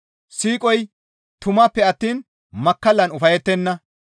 Siiqoy tumanppe attiin makkallan ufayettenna.